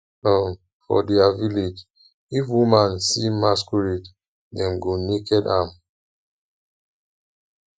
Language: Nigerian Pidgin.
um for dia village if woman see masquerade dem go naked am